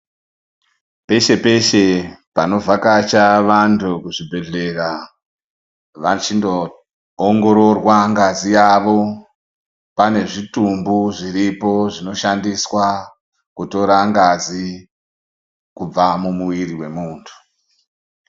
Peshe peshe, panovakacha vantu kuzvibhedhlera vachino ongororwa ngazi yavo, panezvitumbu zviripo zvinoshandiswa kutora ngazi kubva mumuiri wemuntu.